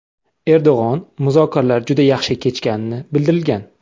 Erdo‘g‘on muzokalarlar juda yaxshi kechganini bildirgan.